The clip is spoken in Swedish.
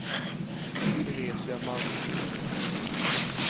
Teresia Malmqvist